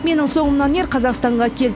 менің соңымнан ер қазақстанға кел